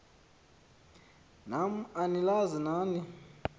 nam anilazi nani